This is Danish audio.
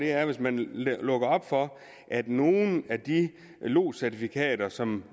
er hvis man lukker op for at nogle af de lodscertifikater som